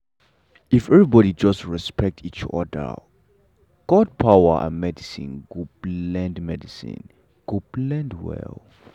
if everybody just dey respect each other god power and medicine go blend medicine go blend well.